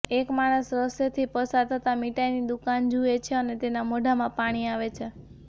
એક માણસ રસ્તેથી પસાર થતાં મીઠાઈની દુકાન જુએ છે અને તેના મોઢામાં પાણી આવે છે